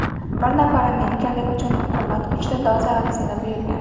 Bir nafar amerikalik uchun hukumat uchta doza vaksina buyurgan.